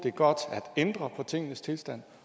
er godt at ændre på tingenes tilstand